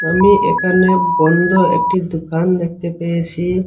আমি এখানে বন্ধ একটি দোকান দেখতে পেয়েছি।